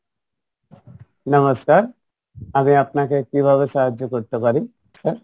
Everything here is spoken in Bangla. নমস্কার আমি আপনাকে কিভাবে সাহায্য করতে পারি sir?